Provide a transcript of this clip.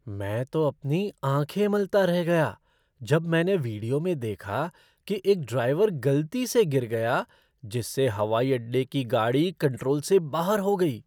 मैं तो अपनी आँखें मलता रह गया जब मैंने वीडियो में देखा कि एक ड्राइवर गलती से गिर गया जिससे हवाई अड्डे की गाड़ी कंट्रोल से बाहर हो गई।